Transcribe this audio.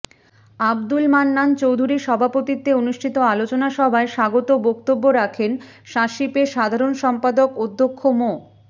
আব্দুল মান্নান চৌধুরীর সভাপতিত্বে অনুষ্ঠিত আলোচনা সভায় স্বাগত বক্তব্য রাখেন স্বাশিপের সাধারণ সম্পাদক অধ্যক্ষ মো